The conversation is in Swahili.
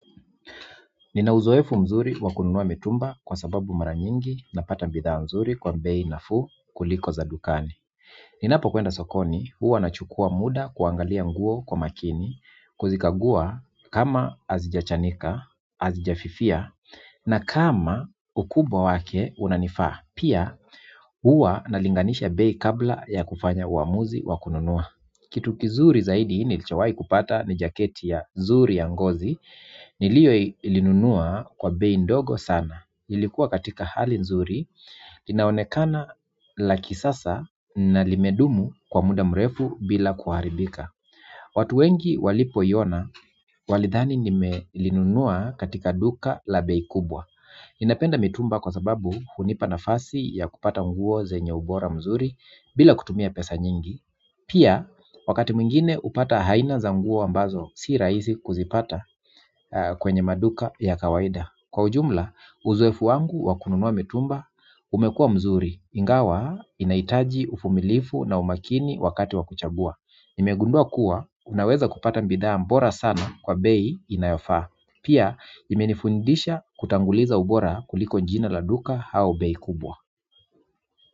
Nina uzoefu mzuri wa kununua mitumba kwa sababu mara nyingi napata bidhaa nzuri kwa bei nafuu kuliko za dukani. Ninapokwenda sokoni huwa nachukuwa muda kuangalia nguo kwa makini kuzikagua kama hazijachanika, hazijafifia na kama ukubwa wake unanifaa. Pia, huwa nalinganisha bei kabla ya kufanya uamuzi wa kununua kitu kizuri zaidi nilichowahi kupata ni jaketi ya zuri ya ngozi niliolinunua kwa bei ndogo sana. Ilikuwa katika hali nzuri inaonekana lakini sasa na limedumu kwa muda mrefu bila kuharibika. Watu wengi walipoiona walidhani nimelinunua katika duka la bei kubwa. Napenda mitumba kwa sababu hunipa nafasi ya kupata nguo zenye ubora mzuri bila kutumia pesa nyingi. Pia, wakati mwingine hupata haina za nguo ambazo, si rahisi kuzipata kwenye maduka ya kawaida kwa ujumla, uzoefu wangu wa kununua mitumba, umekuwa mzuri ingawa, inahitaji uvumilivu na umakini wakati wa kuchagua. Nimegundua kuwa, unaweza kupata bidhaa bora sana kwa bei inayofaa pia, imenifundisha kutanguliza ubora kuliko jina la duka au bei kubwa.